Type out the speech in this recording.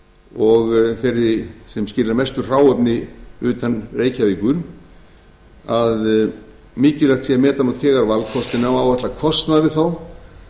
og þeirri sem skilar mestu hráefni utan reykjavíkur að mikilvægt sé að meta nú þegar valkostinn á að áætla kostnað við þá